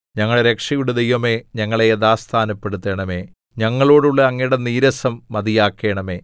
ഞങ്ങളുടെ രക്ഷയുടെ ദൈവമേ ഞങ്ങളെ യഥാസ്ഥാനപ്പെടുത്തണമേ ഞങ്ങളോടുള്ള അങ്ങയുടെ നീരസം മതിയാക്കണമേ